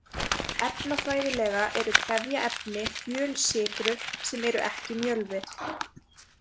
Efnafræðilega eru trefjaefni fjölsykrur sem eru ekki mjölvi.